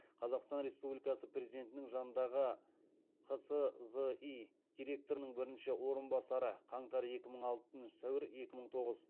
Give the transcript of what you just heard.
қазақстан республикасы президентінің жанындағы қсзи директорының бірінші орынбасары